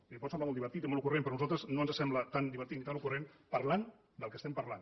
li pot semblar molt divertit i molt ocurrent però a nosaltres no ens sembla tan divertit ni tan ocurrent parlant del que estem parlant